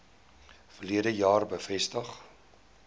verlede jaar bevestig